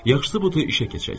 Yaxşısı budur işə keçək.